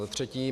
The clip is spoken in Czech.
Za třetí.